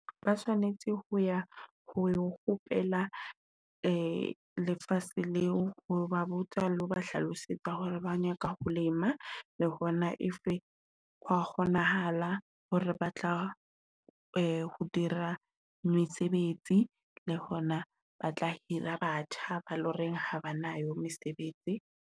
Ba tshwanetse ho ya ho ho kgopela lefase leo, ho ba botsa le ho ba hlalosetsa hore ba nyaka ho lema, le hona if ho wa kgonahala hore ba tla ho dira mesebetsi, le hona ba tla hira batjha, ba loreng ha ba na yo mesebetsi.